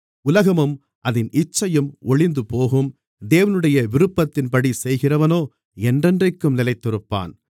உலகமும் அதின் இச்சையும் ஒழிந்துபோகும் தேவனுடைய விருப்பத்தின்படி செய்கிறவனோ என்றென்றைக்கும் நிலைத்திருப்பான்